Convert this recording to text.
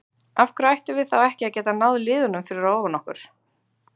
Af hverju ættum við þá ekki að geta náð liðunum fyrir ofan okkur?